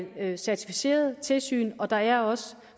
er certificeret tilsyn og der er også